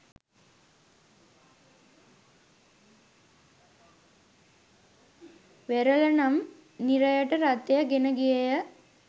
වෙරළ නම් නිරයට රථය ගෙන ගියේය.